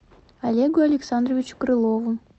олегу александровичу крылову